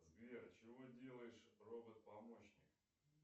сбер чего делаешь робот помощник